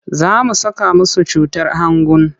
Za su saka musu cutar hangun.